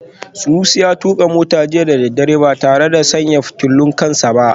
Sunusi ya tuka mota jiya da daddare ba tare da sanya fitulun kan sa ba